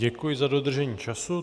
Děkuji za dodržení času.